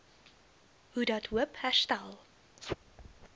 hoedat hoop herstel